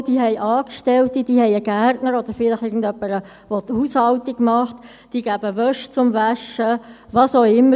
Sie haben Angestellte, sie haben einen Gärtner oder vielleicht irgendjemanden, der die Haushaltung besorgt, sie lassen Wäsche waschen, was auch immer.